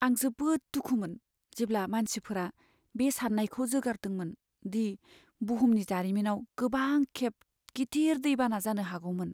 आं जोबोद दुखुमोन जेब्ला मानसिफोरा बे साननायखौ जोगारदोंमोन दि बुहुमनि जारिमिनाव गोबांखेब गिदिर दैबाना जानो हागौमोन।